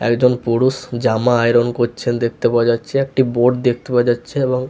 একজন পুরুষ জামা আয়রন করছেন দেখতে পাওয়া যাচ্ছে একটি বোর্ড দেখতে পাওয়া যাচ্ছে এবং--